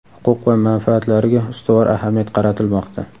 huquq va manfaatlariga ustuvor ahamiyat qaratilmoqda.